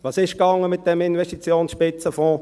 Was lief mit diesem Investitionsspitzenfonds?